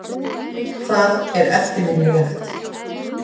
Það er eftirminnilegt.